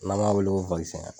N' an b'a wele ko